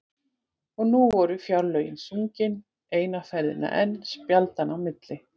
Og nú voru Fjárlögin sungin eina ferðina enn spjaldanna á milli.